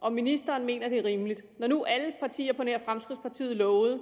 om ministeren mener at det er rimeligt når nu alle partier på nær fremskridtspartiet lovede